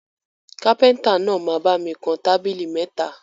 Kápẹ́ntà náà máa bami kan tábìlì mẹ́ta